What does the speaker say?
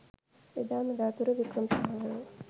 එදා මෙදාතුර වික්‍රමසිංහවරු